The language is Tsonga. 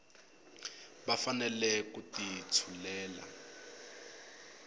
va fanele ku ti tshulela